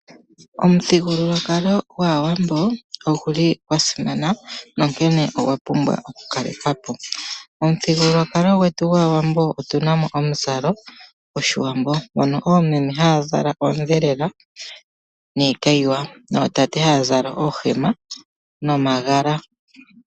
Omuthigululwakalo gaAwambo oguli gwa simana nonkene ogwa pumbwa okukalekwa po. Omuthigululwakalo gwetu gwaAawambo otuna mo omuzalo goshiwambo mono oomeme haya zala oondhelela niikayiwa noootate haya zala oohema nomagala.